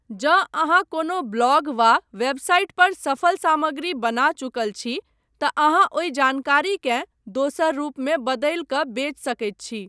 जँ अहाँ कोनो ब्लॉग वा वेबसाइट पर सफल सामग्री बना चुकल छी तँ अहाँ ओहि जानकारीकेँ दोसर रूपमे बदलि कऽ बेचि सकैत छी।